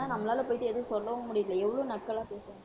ஆனா நம்மளால போயிட்டு, எதுவும் சொல்லவும் முடியலை. எவ்வளவு நக்கலா பேசுவாங்க